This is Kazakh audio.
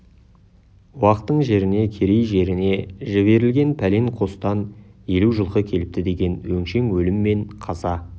уақтың жеріне керей жеріне жіберілген пәлен қостан елу жылқы келіпті деген өңшең өлім мен қаза